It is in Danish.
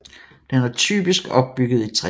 Den er typisk opbygget i træ